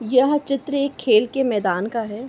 यह चित्र एक खेल के मैदान का है।